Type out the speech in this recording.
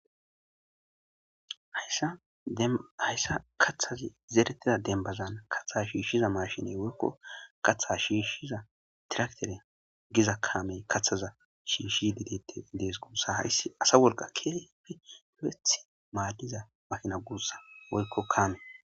Hayssa kaththazi zeeretida dembazana katha shiishshiza mashiney woykko katha shiishshiza diraktere giza kaamey kathaza shiishi didette dees guussa hayssi asa wolka keefi heth maadiza makina guussa woykko kaame.